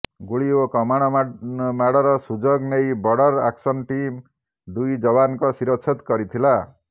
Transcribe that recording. ଗୁଳି ଓ କମାଣ ମାଡ଼ର ସୁଯୋଗ ନେଇ ବର୍ଡର ଆକ୍ସନ ଟିମ୍ ଦୁଇ ଯବାନଙ୍କ ଶିରଚ୍ଛେଦ କରିଥିଲା